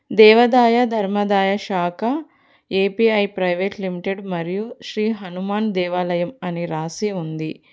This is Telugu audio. దేవదాయ ధర్మదాయ శాఖ ఏ_పి_ఐ ప్రైవేట్ లిమిటెడ్ మరియు శ్రీ హనుమాన్ దేవాలయం అని రాసి ఉంది.